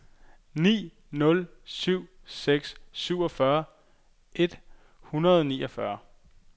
ni nul syv seks syvogfyrre et hundrede og niogfyrre